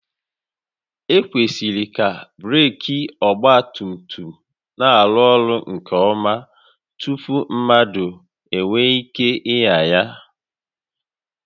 Ekwesịrị ka breeki ọgba tum tum na-arụ ọrụ nke ọma tupu mmadụ enwee ike ịnya ya